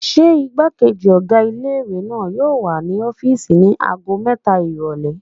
Ṣé igbákejì ọ̀gá ilé-ìwé náà yóò wà ní ọ́fìsì ní ago mẹ́ta ìrọ̀lẹ́?